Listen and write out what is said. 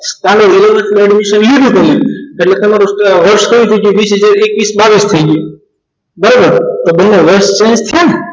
સામે તમે ખરેખર કહ્યું છે વીસ એક્વિસ બાવિસ થઈ ગયું બરોબર